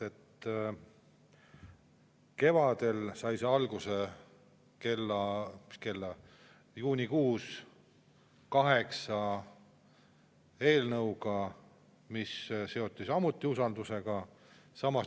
Kevadel sai see alguse, juunikuus, kaheksa eelnõuga, mis seoti samuti usaldus.